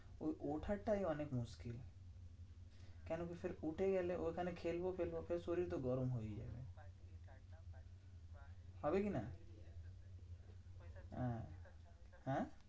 ওই ওঠার টাই অনেক মুশকিল। কেন কি উঠে গেলে? ওখানে খেলবো খেলবো ফের শরীর তো গরম হয়েই যাবে। হবে কি না? হ্যাঁ হ্যাঁ?